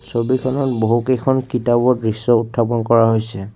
ছবিখনত বহুকেইখন কিতাপৰ দৃশ্য উত্থাপন কৰা হৈছে।